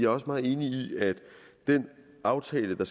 også meget enig i at den aftale der